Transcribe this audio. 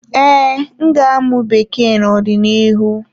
Ee, m ga-amụ Bekee n'ọdịnihu.